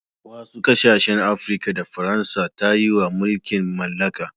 wasu kasashen Afirka da Faransa ta yi wa mulkin mallaka